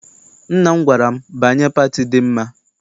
Nna m gwara m, banye pati dị mma!